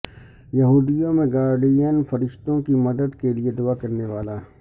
یہودیوں میں گارڈین فرشتوں کی مدد کے لئے دعا کرنے والا